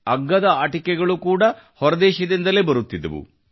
ಅಗ್ಗದ ಆಟಿಕೆಗಳು ಕೂಡಾ ಹೊರದೇಶದಿಂದಲೇ ಬರುತ್ತಿದ್ದವು